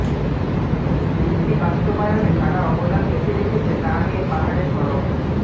চুক্তি বাস্তবায়নে কারা অবদান বেশি রেখেছে তা নিয়ে পাহাড়ে সরব